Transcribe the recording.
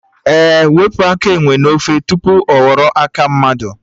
Ee, wepụ aka enwe n'ofe tupu ọ ghọrọ aka mmadụ